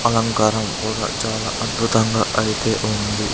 అలంకారం కూడా చాలా అద్భుతంగా అయితే ఉంది.